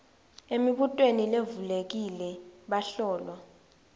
emibutweni levulekile bahlolwa